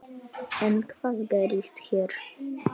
En hvað gerist hér?